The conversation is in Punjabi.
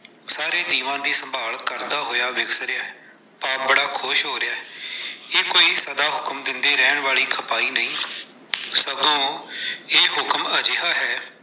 ਸਾਰੇ ਜੀਵਾਂ ਦੀ ਸੰਭਾਲ ਕਰਦਾ ਹੋਇਆ ਵਿਖ ਰਿਹੈ, ਆਪ ਬੜਾ ਖੁਸ਼ ਹੋ ਰਹੈ, ਇਹ ਕੋਈ ਸਦਾ ਹੁਕਮ ਦਿੰਦੇ ਰਹਿਣ ਵਾਲੀ ਖਪਾਈ ਨਹੀਂ, ਸਗੋਂ ਇਹ ਹੁਕਮ ਅਜਿਹਾ ਹੈ।